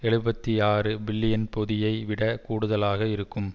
எழுபத்தி ஆறு பில்லியன் பொதியை விட கூடுதலாக இருக்கும்